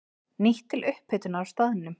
Nýtt til upphitunar á staðnum.